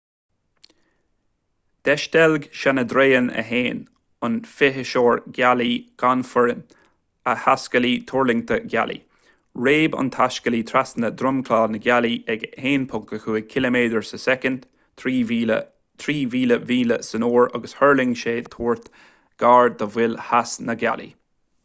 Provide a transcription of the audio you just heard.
d'eisteilg chandrayaan-1 an fithiseoir gealaí gan fhoireann a thaiscéalaí tuirlingthe gealaí. réab an taiscéalaí trasna dhromchla na gealaí ag 1.5 ciliméadar sa soicind 3000 míle san uair agus thuirling sé de thuairt gar do mhol theas na gealaí